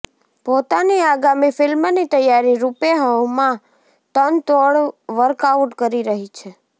પોતાની આગામી ફિલ્મની તૈયારી રૂપે હુમા તનતોડ વર્કઆઉટ કરી રહી છે